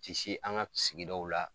Ti se an ŋa sigidaw la